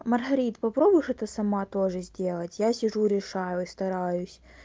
маргарит попробуй что-то сама тоже сделать я сижу решаю и стараюсь